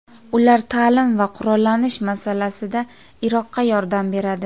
Ular ta’lim va qurollanish masalasida Iroqqa yordam beradi.